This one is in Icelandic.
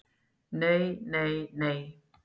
NEI NEI NEI!